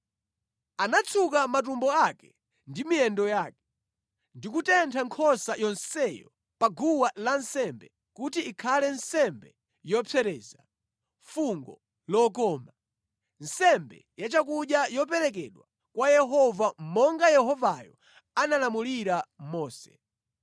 Anatsuka matumbo ake ndi miyendo yake, ndi kutentha nkhosa yonseyo pa guwa lansembe kuti ikhale nsembe yopsereza, fungo lokoma, nsembe yachakudya yoperekedwa kwa Yehova monga Yehovayo analamulira Mose.